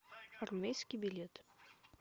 армейский билет